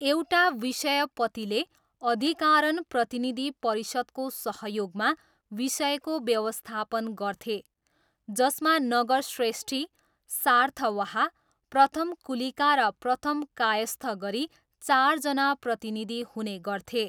एउटा विषयपतिले अधिकारण प्रतिनिधि परिषदको सहयोगमा विषयको व्यवस्थापन गर्थे, जसमा नगरश्रेष्ठी, सार्थवाह, प्रथमकुलिका र प्रथम कायस्थ गरी चारजना प्रतिनिधि हुने गर्थे।